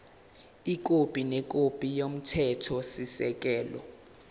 ikhophi nekhophi yomthethosisekelo